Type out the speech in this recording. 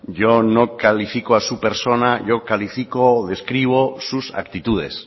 yo no califico a su persona yo califico describo sus actitudes